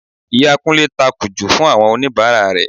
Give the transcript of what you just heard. Ìyàwó Kúnlé ta Kajú fún àwọn oníbàárà rẹ̀